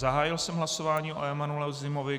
Zahájil jsem hlasování o Emanuelu Zimovi.